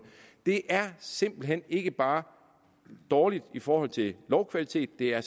det er simpelt hen ikke bare dårligt i forhold til lovkvalitet det er